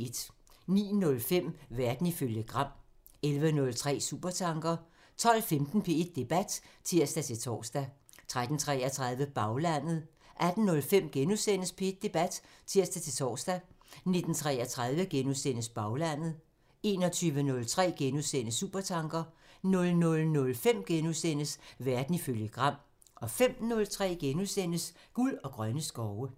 09:05: Verden ifølge Gram (tir) 11:03: Supertanker (tir) 12:15: P1 Debat (tir-tor) 13:33: Baglandet (tir) 18:05: P1 Debat *(tir-tor) 19:33: Baglandet *(tir) 21:03: Supertanker *(tir) 00:05: Verden ifølge Gram *(tir) 05:03: Guld og grønne skove *(tir)